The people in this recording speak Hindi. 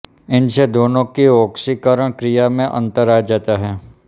इससे दोनों की ऑक्सीकरण क्रिया में अंतर आ जाता है